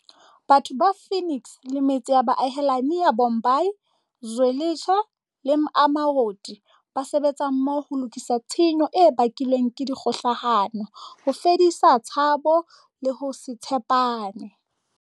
Batho ba Phoenix le metse ya boahelani ya Bhambayi, Zwe litsha le Amaoti ba sebetsa mmoho ho lokisa tshenyo e bakilweng ke dikgohlano, ho fedisa tshabo le ho se tshe pane.